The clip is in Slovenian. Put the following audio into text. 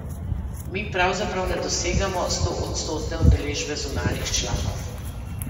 Mi pravzaprav ne dosegamo stoodstotne udeležbe zunanjih članov.